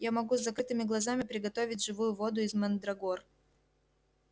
я могу с закрытыми глазами приготовить живую воду из мандрагор